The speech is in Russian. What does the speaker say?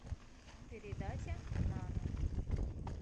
передача нано